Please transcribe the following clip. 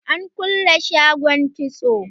An kulle shagon kitson.